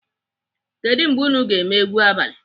Kedụ mgbe unu ga-eme egwu abalị?